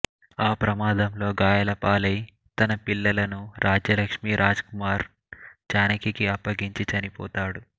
ఆ ప్రమాదంలో గాయాలపాలై తన పిల్లలను రాజ్యలక్ష్మీ రాజ్ కుమార్ జానకికి అప్పగించి చనిపోతాడు